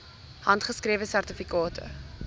handgeskrewe sertifikate